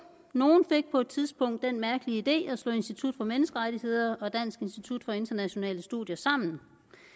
nogle fik på et tidspunkt den mærkelige idé at slå institut for menneskerettigheder og dansk institut for internationale studier sammen